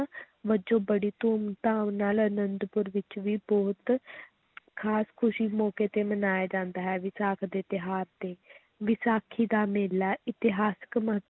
ਵਜੋਂ ਬੜੀ ਧੂਮ-ਧਾਮ ਨਾਲ ਅਨੰਦਪੁਰ ਵਿੱਚ ਵੀ ਬਹੁਤ ਖ਼ਾਸ ਖ਼ੁਸੀ ਮੌਕੇ ਤੇ ਮਨਾਇਆ ਜਾਂਦਾ ਹੈ ਵਿਸਾਖ ਦੇ ਤਿਉਹਾਰ ਤੇ ਵਿਸਾਖੀ ਦਾ ਮੇਲਾ ਇਤਿਹਾਸਕ ਮਹੱ~